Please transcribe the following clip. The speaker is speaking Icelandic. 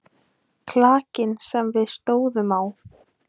Klakinn sem við stóðum á.